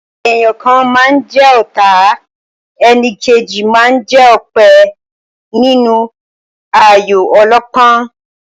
Èèyàn kan máa ń jẹ ọ̀ta, enìkejì máa ń jẹ́ òpè nínú ayò ọlọ́pọ́n.